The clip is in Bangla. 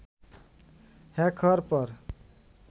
হ্যাক হওয়ার পর